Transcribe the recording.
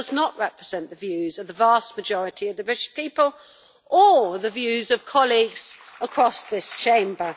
It does not represent the views of the vast majority of the British people or the views of colleagues across this Chamber.